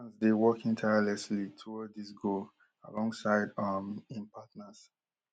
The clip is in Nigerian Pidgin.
dey working tirelessly toward dis goal alongside um in partners